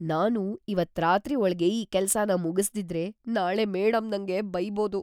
ನಾನು ಇವತ್ತ್ ರಾತ್ರಿ ಒಳ್ಗೆ ಈ ಕೆಲ್ಸನ ಮುಗಿಸ್ದಿದ್ರೆ, ನಾಳೆ ಮೇಡಂ ನಂಗೆ ಬೈಬೋದು.